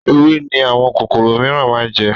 Ewé ni àwọn kòkòrò miran máa ń jẹ